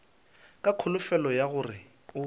ka kholofelo ya gore o